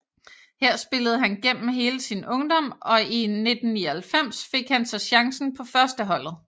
Her spillede han gennem hele sin ungdom og i 1999 fik han så chancen på førsteholdet